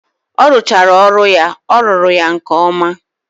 Orụchaara ọrụ ya ọ rụru ya nke oma.